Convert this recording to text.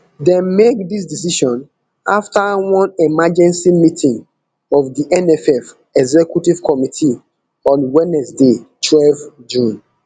dem make dis decision afta one emergency meeting of di nff executive committee on wednesday twelve june